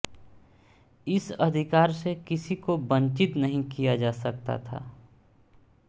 इस अधिकार से किसी को वंचित नहीं किया जा सकता था